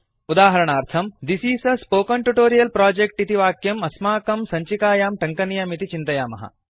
उदाहरणार्थम् this is a spoken tutorial project इति वाक्यम् अस्माकं सञ्चिकायां टङ्कनीयमिति चिन्तयामः